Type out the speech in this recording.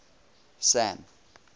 sam